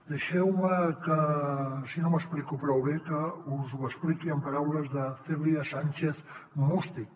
deixeu me que si no m’explico prou bé us ho expliqui amb paraules de cèlia sànchez mústic